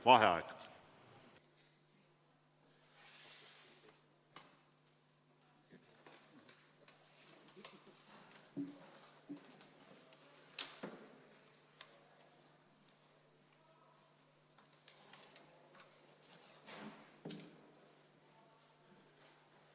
Vaheaeg.